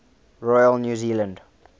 royal new zealand